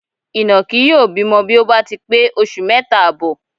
Ìnàkí yóò bímọ bí ó bá ti pé oṣù mẹ́ta àbọ̀.